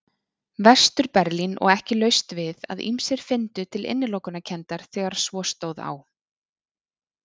Vestur-Berlín og ekki laust við að ýmsir fyndu til innilokunarkenndar þegar svo stóð á.